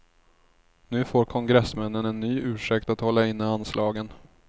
Nu får kongressmännen en ny ursäkt att hålla inne anslagen.